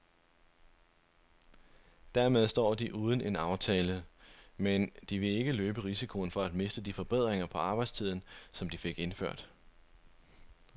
Dermed står de uden en aftale, men de vil ikke løbe risikoen for at miste de forbedringer på arbejdstiden, som de fik indført.